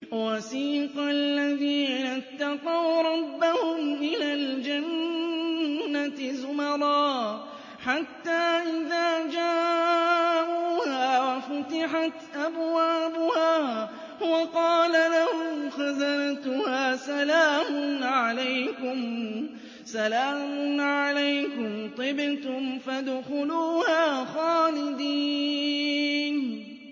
وَسِيقَ الَّذِينَ اتَّقَوْا رَبَّهُمْ إِلَى الْجَنَّةِ زُمَرًا ۖ حَتَّىٰ إِذَا جَاءُوهَا وَفُتِحَتْ أَبْوَابُهَا وَقَالَ لَهُمْ خَزَنَتُهَا سَلَامٌ عَلَيْكُمْ طِبْتُمْ فَادْخُلُوهَا خَالِدِينَ